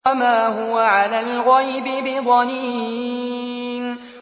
وَمَا هُوَ عَلَى الْغَيْبِ بِضَنِينٍ